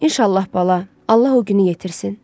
İnşallah bala, Allah o günü yetirsin.